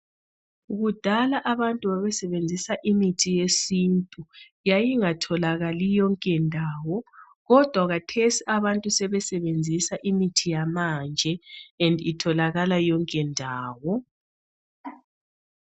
Kudala abantu babesebenzisa imithi yesintu. Yayingatholakali yonke ndawo kodwa kathesi abantu sebesebenzisa imithi yamanje "and" itholakala yonke ndawo.